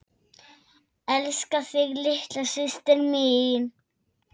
Elska þig litla systir mín.